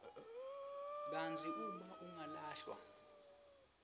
kantsi uma angalahlwa